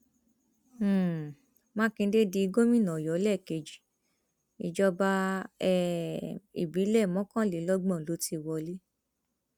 um mákindé di gómìnà ọyọ lẹẹkejì ìjọba um ìbílẹ mọkànlélọgbọn ló ti wọlé